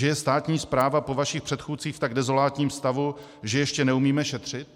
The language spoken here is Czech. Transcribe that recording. Že je státní správa po vašich předchůdcích v tak dezolátním stavu, že ještě neumíme šetřit?